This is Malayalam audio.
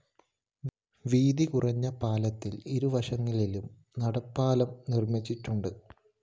വീതി കുറഞ്ഞ പാലത്തില്‍ ഇരുവശങ്ങളിലും നടപ്പാലം നിര്‍മ്മിച്ചിടുണ്ട്